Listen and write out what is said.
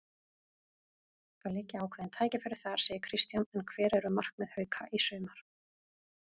Það liggja ákveðin tækifæri þar, segir Kristján en hver eru markmið Hauka í sumar?